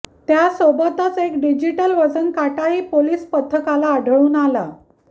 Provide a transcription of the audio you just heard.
त्यासोबतच एक डिजिटल वजन काटाही पोलीस पथकाला आढळून आला